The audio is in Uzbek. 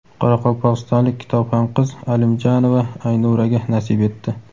qoraqalpog‘istonlik kitobxon qiz Alimjanova Aynuraga nasib etdi!.